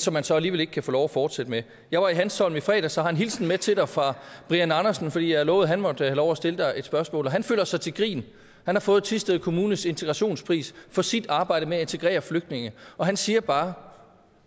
som man så alligevel ikke kan få lov at fortsætte med jeg var i hanstholm i fredags og har en hilsen med til dig fra brian andersen for jeg lovede at han måtte have lov at stille dig et spørgsmål og han føler sig til grin han har fået thisted kommunes integrationspris for sit arbejde med at integrere flygtninge og han siger bare